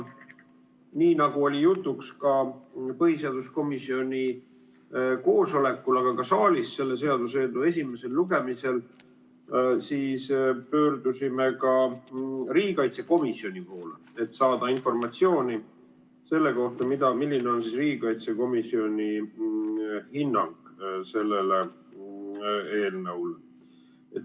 Nagu oli jutuks põhiseaduskomisjoni koosolekul, aga ka saalis selle seaduseelnõu esimesel lugemisel, pöördusime me ka riigikaitsekomisjoni poole, et saada informatsiooni selle kohta, milline on riigikaitsekomisjoni hinnang selle eelnõu kohta.